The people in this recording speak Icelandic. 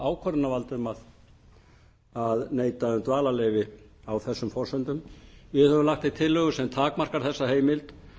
ákvörðunarvald um að neita um dvalarleyfi á þessum forsendum við höfum lagt til tillögu sem takmarkar þessa heimild